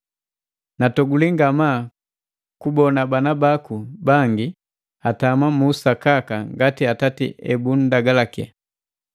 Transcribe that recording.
Natoguli ngamaa kubona bana baku bangi atama mu usakaka ngati Atati ebutulagalaki.